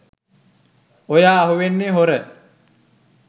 ඔය අහුවෙන්නේ හොර